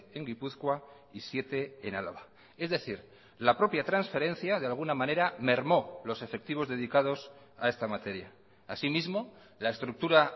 en gipuzkoa y siete en álava es decir la propia transferencia de alguna manera mermó los efectivos dedicados a esta materia así mismo la estructura